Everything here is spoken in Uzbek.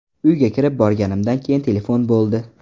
Uyga kirib borganimdan keyin telefon bo‘ldi.